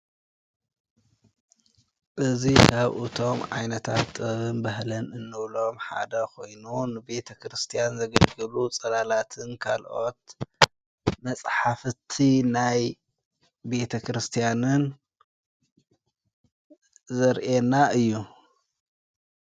እዙይ ካብኡእቶም ዓይነታት ጥብን በህለን እኖብሎም ሓዳ ኾይኑን ቤተ ክርስቲያን ዘግልግሉ ጸላላትን ካልኦት መጽሓፍቲ ናይ ቤተ ክርስቲያንን ዘርኤና እዩ።